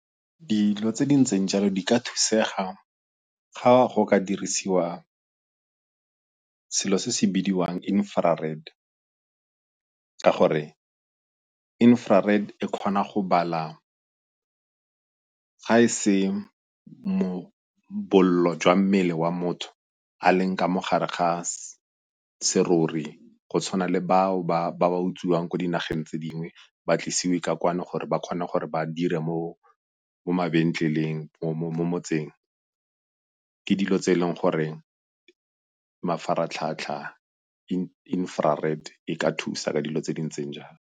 Dilo tse di ntseng jalo di ka thusega ga go ka dirisiwa selo se se bidiwang ka gore e kgona go bala, ga e se bollo jwa mmele wa motho a leng ka mo gare ga serori go tshwana le bao ba ba utsiweng ko dinageng tse dingwe ba tlisiwe ka kwano gore ba kgone gore ba dire mo mabenkeleng mo motseng ke dilo tse e leng gore mafaratlhatlha e ka thusa ka dilo tse di ntseng jalo.